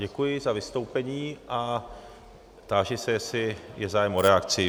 Děkuji za vystoupení a táži se, jestli je zájem o reakci.